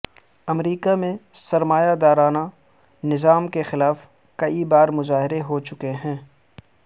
امریکہ میں سرمایہ دارانہ نظام کے خلاف کئی بار مظاہرے ہو چکے ہیں